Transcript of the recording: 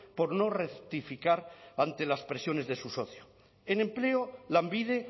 por no rectificar antes las presiones de su socio en empleo lanbide